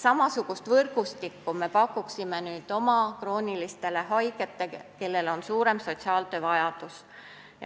Samasugust võrgustikku me pakuksime nüüd oma kroonilistele haigetele, kellel on suurem sotsiaaltöö vajadus.